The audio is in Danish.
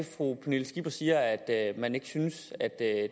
fru pernille skipper siger sådan at man ikke synes